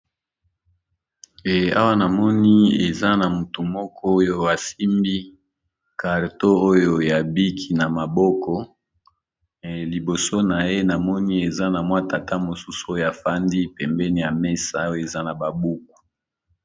Awa namoni eza na motu moko oyo asimbi karton oyo ya biki na maboko liboso na ye namoni eza na mwa tata mosusu oyo afandi pembeni ya mesa oyo eza na babuku.